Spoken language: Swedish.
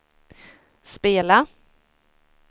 spela